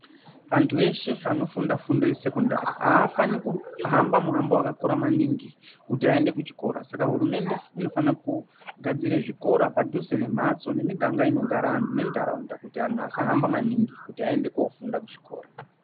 Antu eshe anofunda fundo ye sekondari afani kuhamba muhambo wakakura maningi kuti ayende ku chikora saka hurumende inofana ku gadzire zvikora padhuze ne mhatso ne miganga inogara anhu ne ndaraunda kuti anhu asahamba maningi kuti ayende kofunda ku zvikora.